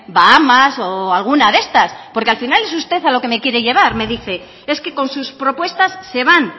bahamas o alguna de estas porque al final es usted a lo que me quiere llevar me dice es que con sus propuestas se van